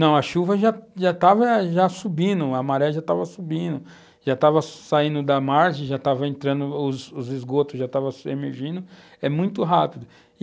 Não, a chuva já já estava subindo, a maré já estava subindo, já estava saindo da margem, já estava entrando, os esgotos já estavam emergindo, é muito rápido.